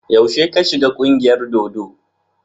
Yaushe ka shiga ƙungiyar dodo?